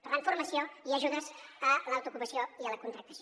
per tant formació i ajudes a l’autoocupació i a la contractació